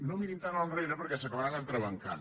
no mirin tan enrere perquè s’acabaran entrebancant